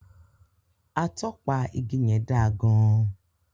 Atọpa igi yẹn da gan-an.